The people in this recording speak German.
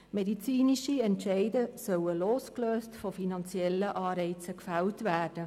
Medizinische Entscheide sollen losgelöst von finanziellen Anreizen gefällt werden.